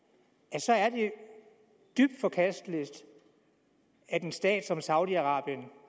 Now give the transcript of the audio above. så er det dybt forkasteligt at en stat som saudi arabien